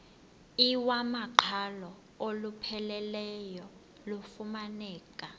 iwamaqhalo olupheleleyo lufumaneka